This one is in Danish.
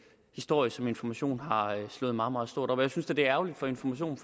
historie som information har slået meget meget stort op jeg synes da det er ærgerligt for information